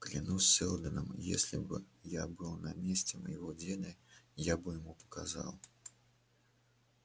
клянусь сэлдоном если бы я был на месте моего деда я бы ему показал